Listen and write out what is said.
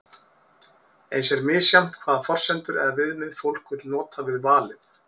eins er misjafnt hvaða forsendur eða viðmið fólk vill nota við valið